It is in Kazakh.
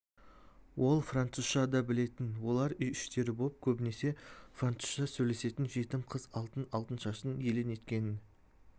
ол французша да білетін олар үй-іштері боп көбінесе французша сөйлесетін жетім қыз алтын- алтыншаштың елең еткенін